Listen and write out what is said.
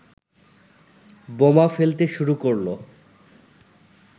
বোমা ফেলতে শুরু করলো।